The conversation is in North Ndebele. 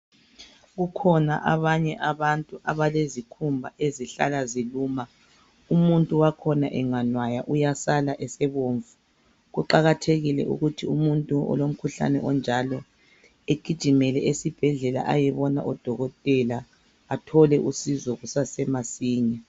Kukhona abanye abantu abalezikhumba ezihlala ziluma. Umuntu wakhona enganwaya uyasala esebomvu. Kuqakathekile ukuthi umuntu olomkhuhlane onjalo agijimele esibhedlela ayebona odokotela ethole usizo kusesemasinya.